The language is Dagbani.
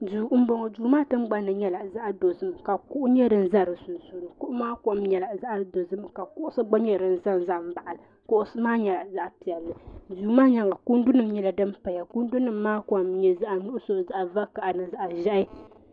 duu n bɔŋɔ duu maa tingbanni nyɛla zaɣ dozim ka kuɣu nyɛ din ʒɛ di sunsuuni kuɣu maa kom nyɛla zaɣ dozim ka kuɣusi gba nyɛ din ʒɛnʒɛ dinni kuɣusi maa nyɛla zaɣ piɛlli duu maa ni kundu nyɛla din paya kundu nim maa kom n nyɛ zaɣ nuɣso zaɣ vakaɣali ni zaɣ ʒiɛhi